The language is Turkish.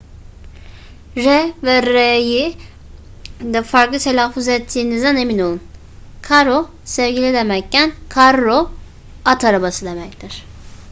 r ve rr'yi de farklı telaffuz ettiğinizden emin olun caro sevgili demekken carro at arabası demektir